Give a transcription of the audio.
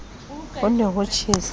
ho ne ho tjhesa ke